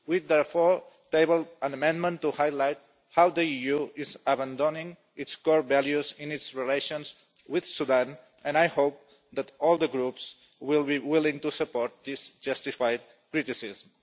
We therefore tabled an amendment to highlight how the EU is abandoning its core values in its relations with Sudan and I hope that all the Groups will be willing to support this justified criticism.